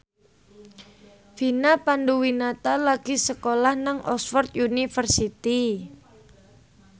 Vina Panduwinata lagi sekolah nang Oxford university